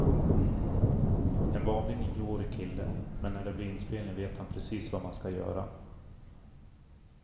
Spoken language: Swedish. En vanlig nioårig kille, men när det blir inspelning vet han precis vad man ska göra.